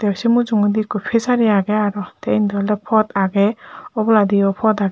tey se mujungedi ekko pijari agey aro te indi oley pod agey oboladiyo pod agey.